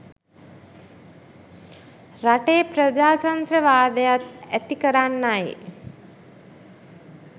රටේ ප්‍රජාත්‍රන්ත්‍රවාදයත් ඇති කරන්නයි.